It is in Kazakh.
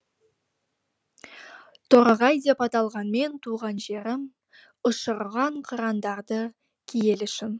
торғай деп аталғанмен туған жерім ұшырған қырандарды киелі шың